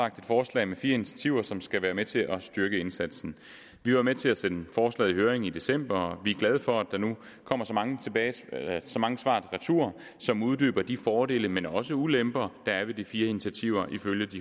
et forslag med fire initiativer som skal være med til at styrke indsatsen vi var med til at sende forslaget i høring i december og vi er glade for at der nu kommer så mange så mange svar retur som uddyber de fordele men også ulemper der er ved de fire initiativer